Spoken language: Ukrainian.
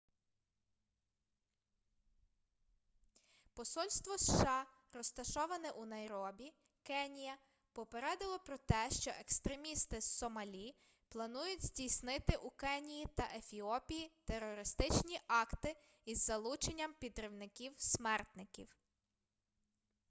посольство сша розташоване у найробі кенія попередило про те що екстремісти з сомалі планують здійснити у кенії та ефіопії терористичні акти із залученням підривників-смертників